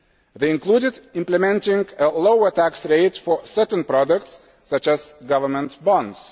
They included implementing lower tax rates for certain products, such as governments bonds.